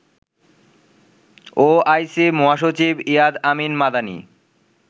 OIC মহাসচিব Iyad Ameen Madani